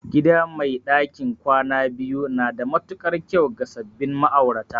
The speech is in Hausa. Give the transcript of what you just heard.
Gida mai ɗakin kwana biyu na da matuƙar kyau ga sabbin ma'aurata